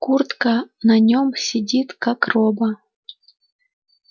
куртка на нём сидит как роба